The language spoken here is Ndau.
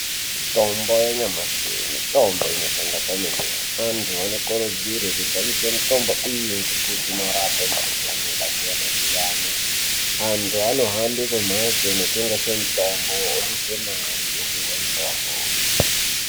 Tombo yanyamashi mutombo inoshanda kwemene antu anokurudzirwe kushandise mutombo iyi ngekuti i krape mukhuhlani yakasiyana siyana antu anohambe kumhatso kunotengeswe mutombo oduse mare opuhwe mutombo.